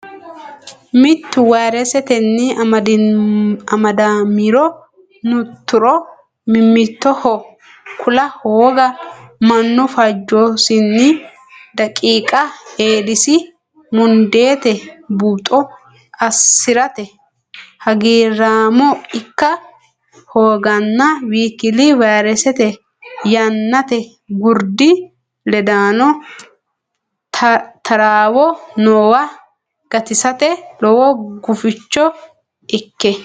mittu vayresetenni amadamiro nturo mimmitoho kula hooga mannu fajjosinni daqiiqa Eedisi mundeete buuxo assi rate hagiirraamo ikka hooganna w k l vayresete Yannate Gurdi ledaano taraawo noowa gatisate lowo guficho ikke.